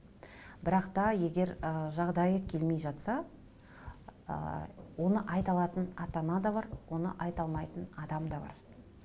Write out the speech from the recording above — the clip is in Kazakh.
бірақ та егер ы жағдайы келмей жатса ы оны айта алатын ата ана да бар оны айта алмайтын адам да бар